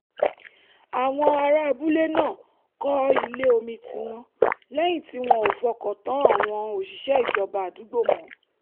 àwọn ará abúlé náà kọ́ ilé omi tiwọn lẹ́yìn tí wọn ò fọkàn tán àwọn òṣìṣẹ́ ìjọba àdúgbò mọ́